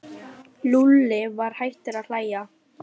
Lúlli var hættur að hlæja.